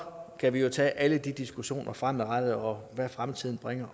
kan vi tage alle de diskussioner fremadrettet om hvad fremtiden bringer